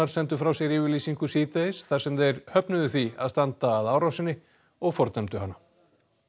sendu frá sér yfirlýsingu síðdegis þar sem þeir höfnuðu því að standa að árásinni og fordæmdu hana